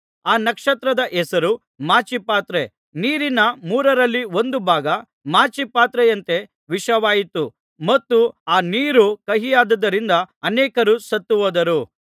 ಆ ನಕ್ಷತ್ರದ ಹೆಸರು ಮಾಚಿಪತ್ರೆ ನೀರಿನ ಮೂರರಲ್ಲಿ ಒಂದು ಭಾಗ ಮಾಚಿಪತ್ರೆಯಂತೆ ವಿಷವಾಯಿತು ಮತ್ತು ಆ ನೀರು ಕಹಿಯಾದ್ದರಿಂದ ಅನೇಕರು ಸತ್ತುಹೋದರು